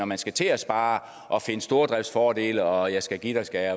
man skal til at spare og finde stordriftsfordele og jeg skal give dig skal